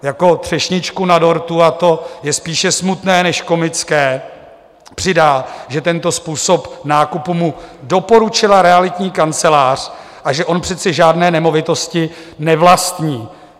Jako třešničku na dortu, a to je spíše smutné než komické, přidá, že tento způsob nákupu mu doporučila realitní kancelář a že on přece žádné nemovitosti nevlastní.